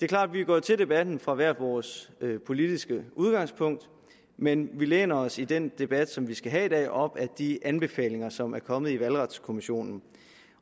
klart at vi er gået til debatten fra hvert vores politiske udgangspunkt men vi læner os i den debat som vi skal have i dag op ad de anbefalinger som er kommet fra valgretskommissionen